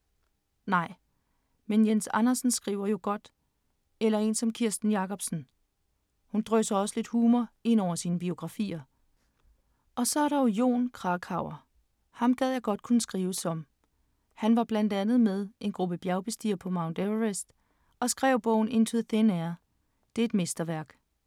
Nej. Men, Jens Andersen skriver jo godt, eller en som Kirsten Jacobsen. Hun drysser også lidt humor ind over sine biografier, og så er der Jon Krakauer, ham gad jeg godt at kunne skrive som. Han var blandt andet med en gruppe bjergbestigere på Mount Everest og skrev bogen Into thin air. Det er et mesterværk.